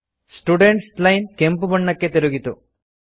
students line ಕೆಂಪು ಬಣ್ಣಕ್ಕೆ ತಿರುಗಿತು